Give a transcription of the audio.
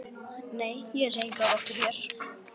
Nei, ég sé enga rottu hér